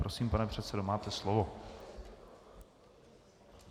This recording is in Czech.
Prosím, pane předsedo, máte slovo.